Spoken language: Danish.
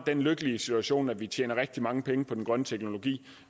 den lykkelige situation at vi tjener rigtig mange penge på den grønne teknologi